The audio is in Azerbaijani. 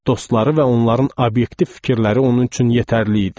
Dostları və onların obyektiv fikirləri onun üçün yetərli idi.